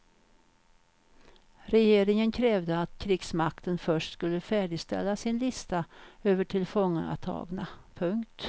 Regeringen krävde att krigsmakten först skulle färdigställa sin lista över tillfångatagna. punkt